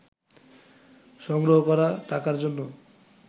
সংগ্রহ করা টাকার জন্য